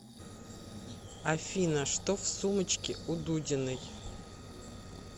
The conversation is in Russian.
афина что в сумочке у дудиной